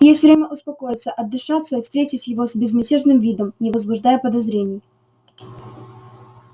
есть время успокоиться отдышаться и встретить его с безмятежным видом не возбуждая подозрений